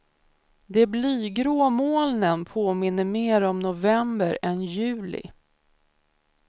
De blygrå molnen påminner mer om november än juli.